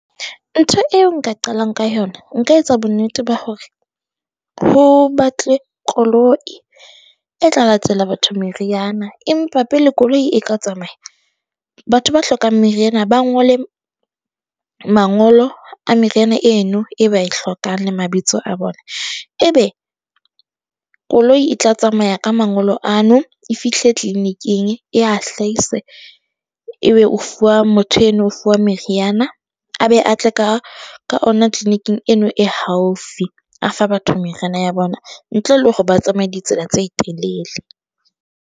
Ntho eo nka qalang ka yona nka etsa bonnete ba hore ho batlwe koloi e tla latela batho meriana, empa pele koloi e ka tsamaya. Batho ba hlokang meriana ba ngole mangolo a meriana eno e ba e hlokahang le mabitso a bona, ebe koloi e tla tsamaya ka mangolo ano e fihle clinic-ing e a hlahise ebe o fuwa motho eno ofuwa meriana a be a tle ka ka ona clinic-ing eno e haufi. A fa batho meriana ya bona ntle le hore ba tsamaye ditsela tse telele.